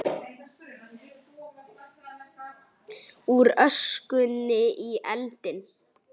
Úr öskunni í eldinn